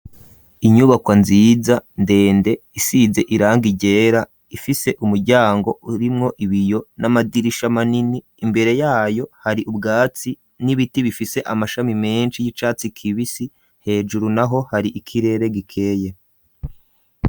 Inyubakwa nziza ndende isize iranga ryera ifise umuryango urimwo ibiyo n'amadirisha manini imbere yayo hari ubwatsi n'ibiti bifise amashami menshi y'icatsi kibisi hejuru naho hari ikirere gikeye.